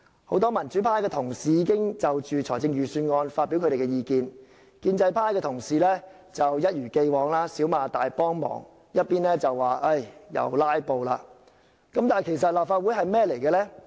很多民主派同事已經就預算案發表意見，建制派同事則一如既往，一邊對政府"少罵大幫忙"，一邊說我們又"拉布"，但其實立法會的角色是甚麼？